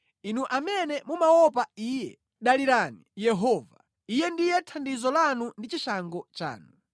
Inu amene mumaopa Iye, dalirani Yehova; Iye ndiye thandizo lanu ndi chishango chanu.